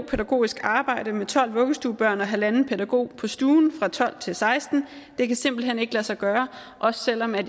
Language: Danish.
pædagogisk arbejde med tolv vuggestuebørn og halvanden pædagog på stuen fra tolv til sekstende det kan simpelt hen ikke lade sig gøre også selv om jeg